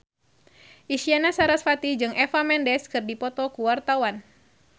Isyana Sarasvati jeung Eva Mendes keur dipoto ku wartawan